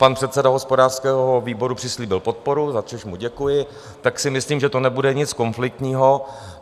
Pan předseda hospodářského výboru přislíbil podporu, za což mu děkuji, tak si myslím, že to nebude nic konfliktního.